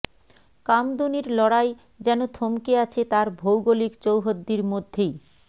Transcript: কামদুনির লড়াই যেন থমকে আছে তার ভৌগলিক চৌহদ্দীর মধ্যেই